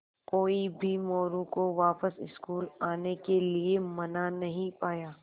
कोई भी मोरू को वापस स्कूल आने के लिये मना नहीं पाया